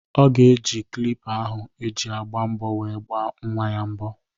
Ọ ga-eji klippa ahụ eji agba mbọ were gbaa nnwa ya mbọ.